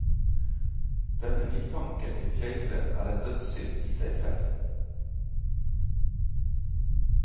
Denne mistanken til keiseren er en dødssynd i seg selv.